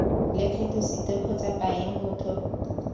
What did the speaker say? lekgetho site kgotsa paye motho